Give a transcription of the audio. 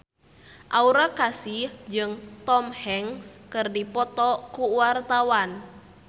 Aura Kasih jeung Tom Hanks keur dipoto ku wartawan